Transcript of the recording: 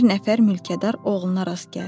Bir nəfər mülkədar oğluna rast gəldim.